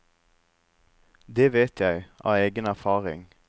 Det vet jeg av egen erfaring.